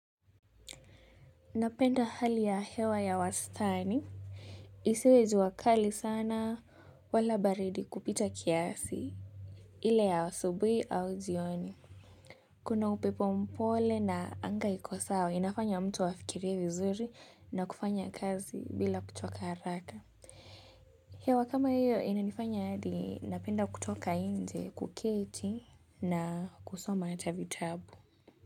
Napenda hali ya hewa ya wastani. Isiwe jua kali sana wala baridi kupita kiasi. Ile ya asubuhi au jioni. Kuna upepo mpole na anga iko sawa. Inafanya mtu afikirie vizuri na kufanya kazi bila kuchoka haraka. Hewa kama hiyo inanifanya hadi napenda kutoka nje kuketi na kusoma hata vitabu.